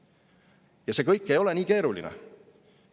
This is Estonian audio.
Ja see kõik ei ole nii keeruline.